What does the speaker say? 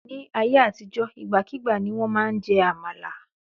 Ní ayé àtijó, ìgbàkígbà ni wọ́n máa ń jẹ àmàlà.